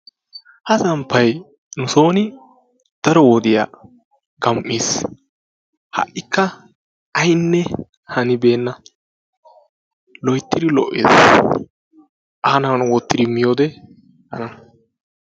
Ha samppay nusooni daro wodiya gam"iis. Ha"ikka aynne hanibeenna. Loyttiri lo"ees. Aani wottiri miyode tana.